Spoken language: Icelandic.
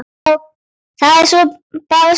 Já, það er bara svona.